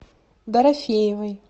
дорофеевой